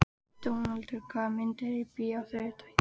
Dónaldur, hvaða myndir eru í bíó á þriðjudaginn?